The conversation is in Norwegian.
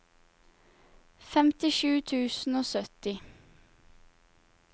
femtisju tusen og sytti